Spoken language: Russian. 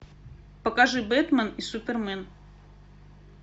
покажи бэтмен и супермен